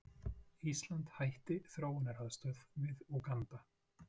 Ísland hætti þróunaraðstoð við Úganda